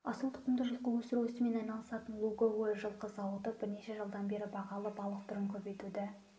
асыл тұқымды жылқы өсіру ісімен айналысатын луговой жылқы зауыты бірнеше жылдан бері бағалы балық түрін көбейтуді